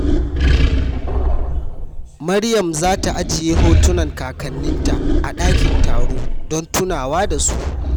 Maryam za ta ajiye hotunan kakanninta a dakin taro don tunawa da su.